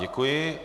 Děkuji.